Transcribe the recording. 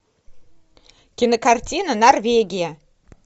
кинокартина норвегия